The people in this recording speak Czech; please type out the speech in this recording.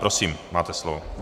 Prosím, máte slovo.